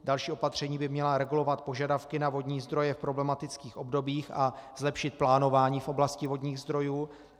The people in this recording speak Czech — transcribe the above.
Další opatření by mělo regulovat požadavky na vodní zdroje v problematických obdobích a zlepšit plánování v oblasti vodních zdrojů.